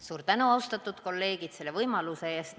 Suur tänu, austatud kolleegid, selle võimaluse eest!